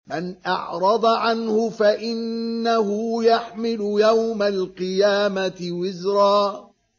مَّنْ أَعْرَضَ عَنْهُ فَإِنَّهُ يَحْمِلُ يَوْمَ الْقِيَامَةِ وِزْرًا